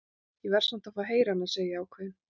Ég verð samt að fá að heyra hana, segi ég ákveðin.